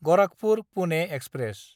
Gorakhpur Pune express